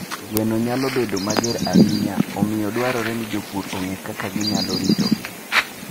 Gweno nyalo bedo mager ahinya, omiyo dwarore ni jopur ong'e kaka ginyalo ritogi.